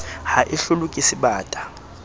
ha e hlolwe ke sebata